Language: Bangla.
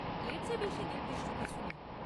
এর চেয়ে বেশি নির্দিষ্ট কিছু নেই।